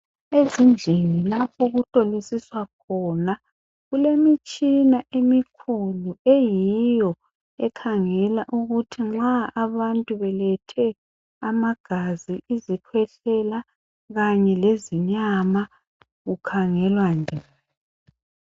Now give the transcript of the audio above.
Ezindlini lapho okuhlolisiswa khona kulemitshina emikhulu eyiyo ekhangela ukuthi nxa abantu belethe amagazi izikhwehlela kanye lezinyama kukhangelwa njani.